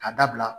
Ka dabila